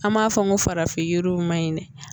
An b'a fɔ n ko farafin yiriw man ɲi dɛ